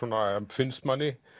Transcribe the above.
finnst manni